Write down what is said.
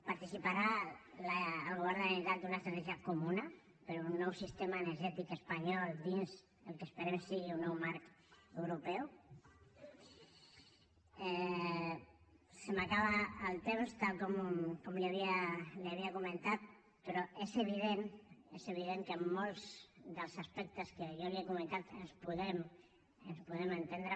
participarà el govern de la generalitat d’una estratègia comuna per un nou sistema energètic espanyol dins el que esperem que sigui un nou marc europeu se m’acaba el temps tal com li havia comentat però és evident és evident que en molts dels aspectes que jo li he comentat ens podem ens podem entendre